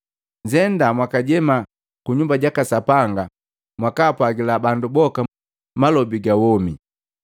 “Nnzenda mwakajema ku Nyumba jaka Sapanga mwakaapwaagila bandu boka malobi gawomi.”